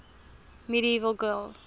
medieval gaels